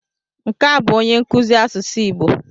Nke a bụ onye nkuzi asụsụ Igbo.